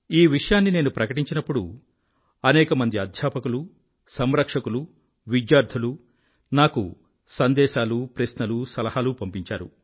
ఈ విషయాన్ని నేను ప్రకటించినప్పుడు అనేకమంది అధ్యాపకులు సంరక్షకులు విద్యార్థులు నాకు సందేశాలు ప్రశ్నలు సలహాలు పంపించారు